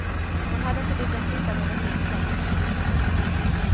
De hade inte lyckats hitta något nytt hem.